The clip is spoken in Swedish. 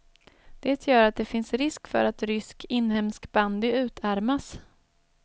Det gör att det finns risk för att rysk inhemsk bandy utarmas.